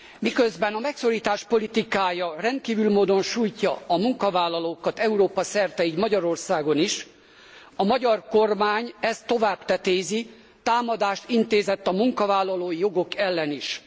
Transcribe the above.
Miközben a megszorítás politikája rendkívüli módon sújtja a munkavállalókat Európa szerte, így Magyarországon is, a magyar kormány ezt tovább tetézi támadást intézett a munkavállalói jogok ellen is.